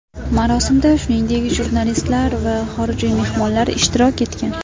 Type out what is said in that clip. Marosimda, shuningdek, jurnalistlar va xorijiy mehmonlar ishtirok etgan.